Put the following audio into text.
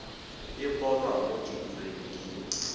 e bonwa mo diureng di